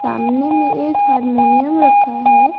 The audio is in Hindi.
सामने में एक हारमोनियम रखा है।